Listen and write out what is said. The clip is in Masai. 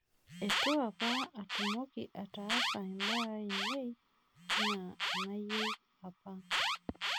itu apa atmoki ataas imbaa ainei enaa enayieu apa